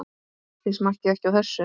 Þið smakkið ekki á þessu!